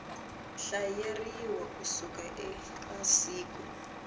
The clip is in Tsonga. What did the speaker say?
hlayeriwa ku suka eka siku